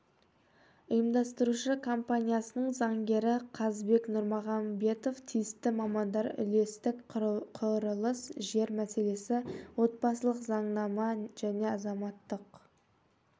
ұйымдастырушы компаниясының заңгері қазбек нұрмағанбетов тиісті мамандар үлестік құрылыс жер мәселесі отбасылық заңнама және азаматтық